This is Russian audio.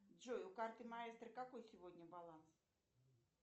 джой у карты маэстро какой сегодня баланс